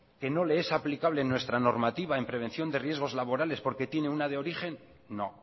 que no le es aplicable nuestra normativa en prevención de riesgos laborales porque tiene una de origen no